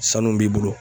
Sanu b'i bolo